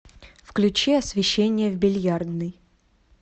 включи освещение в бильярдной